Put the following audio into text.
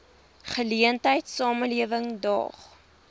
geleentheid samelewing daag